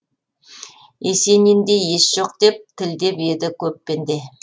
есенинде ес жоқ деп тілдеп еді көп пенде